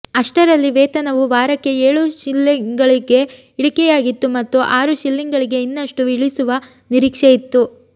ಅಷ್ಟರಲ್ಲಿ ವೇತನವು ವಾರಕ್ಕೆ ಏಳು ಶಿಲ್ಲಿಂಗ್ಗಳಿಗೆ ಇಳಿಕೆಯಾಗಿತ್ತು ಮತ್ತು ಆರು ಶಿಲ್ಲಿಂಗ್ಗಳಿಗೆ ಇನ್ನಷ್ಟು ಇಳಿಸುವ ನಿರೀಕ್ಷೆಯಿತ್ತು